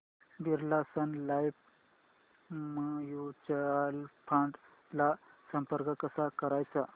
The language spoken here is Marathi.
Birla sun life mutual fund ला संपर्क कसा करायचा